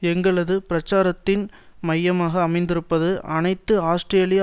எங்களது பிரச்சாரத்தின் மையமாக அமைந்திருப்பது அனைத்து ஆஸ்திரேலிய